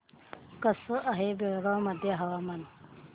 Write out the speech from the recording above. कसे आहे बेळगाव मध्ये हवामान